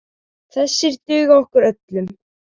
Þessir duga okkur öllum.